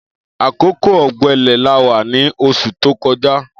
Akókó ọgbẹlẹ là wà ni óṣú tókọ̀já